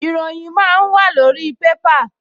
Ìròyìn máa ń wàlórí pépà